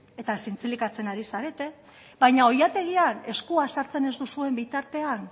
eta zintzilikatzen ari zarete baina oilategian eskua sartzen ez duzuen bitartean